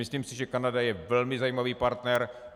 Myslím si, že Kanada je velmi zajímavý partner.